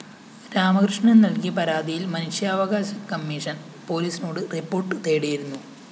രാമകൃഷ്ണന്‍ നല്‍കിയ പരാതിയില്‍ മനുഷ്യാവകാശ കമ്മീഷൻ പോലീസിനോട് റിപ്പോർട്ട്‌ തേടിയിരുന്നു